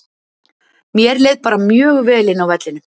Mér leið bara mjög vel inná vellinum.